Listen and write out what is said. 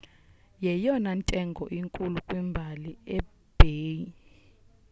yeyona ntengo inkulu kwimbali ye-ebay